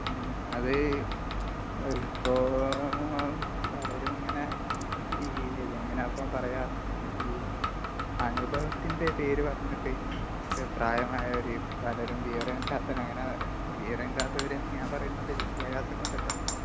മ്, ഹ്...അത്...ഇപ്പോ.....പലരും ഇങ്ങനെ..ഈ...ഇതെങ്ങനാ ഇപ്പൊ പറയ്കാ...ഈ...അനുഭവത്തിന്റെ പേര് പറഞ്ഞിട്ട് പ്രായമായവര് പലരും വിവരമില്ലാത്തരം...അങ്ങനെ വിവരമില്ലാത്തവര് എന്ന് ഞാൻ പറയുന്നത് വിദ്യാഭ്യാസം കൊണ്ടട്ടോ..